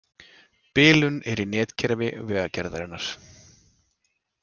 Bilun er í netkerfi Vegagerðarinnar